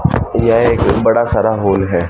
यह एक बड़ा सारा होल है।